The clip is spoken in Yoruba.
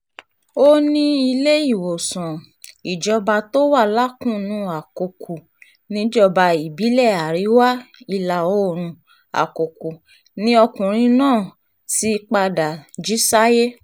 ó ní iléewòsàn um ìjọba tó wà lákùnnù àkókò níjọba ìbílẹ̀ àríwá ìlà-oòrùn àkọ́kọ́ ni ọkùnrin náà ti um padà jí sáyé